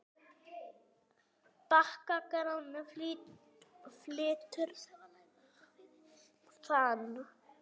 Bagga Gráni flytur þann.